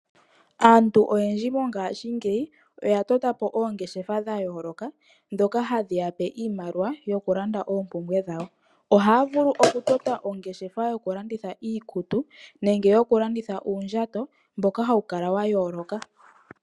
Aantu oyendji mongashingeyi oya tota po oongeshefa dha yooloka ndhoka hadhi ya pe iimaliwa dhokulanda oompumbwe dhawo. Ohaa vulu okutota ongeshefa yokulanditha iikutu nenge yokulanditha uundjato mboka hawu kala wa yooloka.